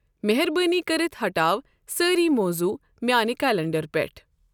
مہربٲنی کٔرِتھ ہٹاو سٲری مۄضوع میانِہ کلینڈر پیٹھہٕ ۔